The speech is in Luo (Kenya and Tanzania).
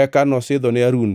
Eka nosidhone Harun